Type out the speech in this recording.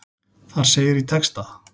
Þar segir í texta.